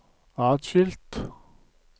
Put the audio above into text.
atskilt